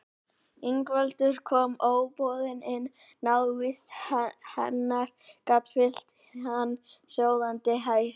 Ingveldur kom óboðin inn, návist hennar gat fyllt hann sjóðandi heift.